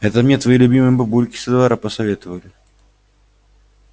это мне твои любимые бабульки со двора посоветовали